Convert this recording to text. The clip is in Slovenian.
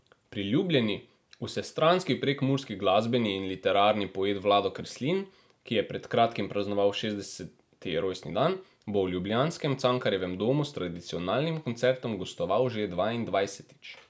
Priljubljeni, vsestranski prekmurski glasbeni in literarni poet Vlado Kreslin, ki je pred kratkim praznoval šestdeseti rojstni dan, bo v ljubljanskem Cankarjevem domu s tradicionalnim koncertom gostoval že dvaindvajsetič.